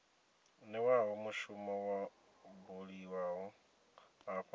newaho mushumo wo buliwaho afho